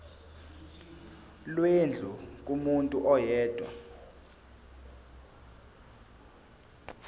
lwendlu kumuntu oyedwa